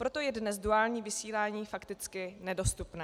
Proto je dnes duální vysílání fakticky nedostupné.